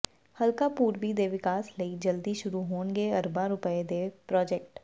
ਹਲਕਾ ਪੂਰਬੀ ਦੇ ਵਿਕਾਸ ਲਈ ਜਲਦੀ ਸ਼ੁਰੂ ਹੋਣਗੇ ਅਰਬਾਂ ਰੁਪਏ ਦੇ ਪ੍ਰਾਜੈਕਟ